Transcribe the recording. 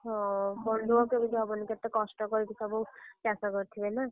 ହଁ ମନଦୁଃଖ କେମିତି ହବନି କେତେ କଷ୍ଟ କରିକି ଚାଷ କରିଥିବେ ନା।